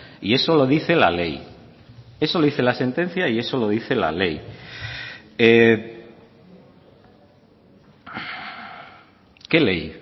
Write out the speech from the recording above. y eso lo dice la ley eso lo dice la sentencia y eso lo dice la ley qué ley